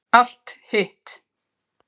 Allt hitt